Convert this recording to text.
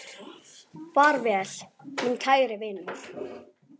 Far vel, minn kæri vinur.